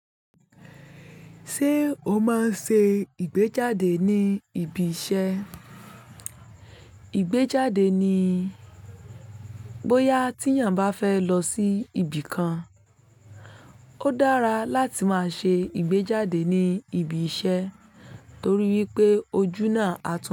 Ṣé o máa ń ṣe ìgbéjáde ní ibi iṣẹ́? Ìgbéjáde ni bóyá tí èèyàn bá fẹ́ lọ sí ibi kan. Ó dára láti máa ṣe ìgbéjáde ní ibi iṣẹ́ torí wípé ojú náà á tún.